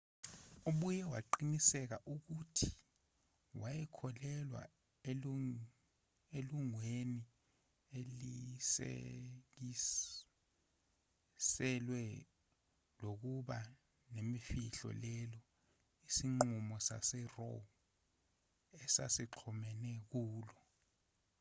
ubuye waqinisekisa ukuthi wayekholelwa elungelweni elisikiselwe lokuba nemfihlo lelo isinqumo saseroe esasixhomeke kulo